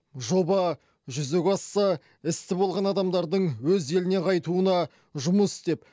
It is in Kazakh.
жоба жүзеге асса істі болған адамдардың өз еліне қайтуына жұмыс істеп